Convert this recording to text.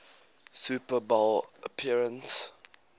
super bowl appearance